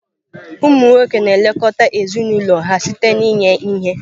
Ụmụ nwoke na-elekọta ezinụlọ ha site n'inye ihe.